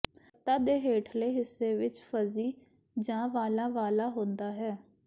ਪੱਤਾ ਦੇ ਹੇਠਲੇ ਹਿੱਸੇ ਵਿੱਚ ਫਜ਼ੀ ਜਾਂ ਵਾਲਾਂ ਵਾਲਾ ਹੁੰਦਾ ਹੈ